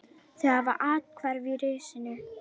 Þau hafa athvarf í risinu.